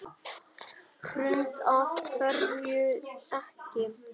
Hrund: Af hverju ekki?